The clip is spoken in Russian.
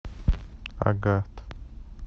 агат